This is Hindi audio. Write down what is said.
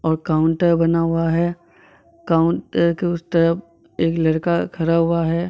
ओर काउंटर बना हुआ है काउंटर के उस तरफ एक लड़का खड़ा हुआ है।